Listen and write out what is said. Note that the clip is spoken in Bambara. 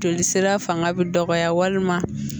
Joli sira fanga bɛ dɔgɔya walima